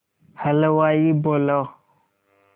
हलवाई बोला